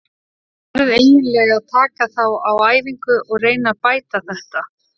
Ég verð eiginlega að taka þá á æfingu og reyna að bæta þetta.